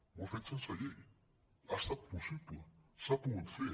ho ha fet sense llei ha estat possible s’ha pogut fer